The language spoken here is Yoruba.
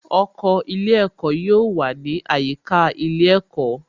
Oko ilé ẹ̀kọ́ yóò wà ní àyíká ilé ẹ̀kọ́